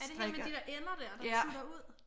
Er det hende med de der ender der der tutter ud?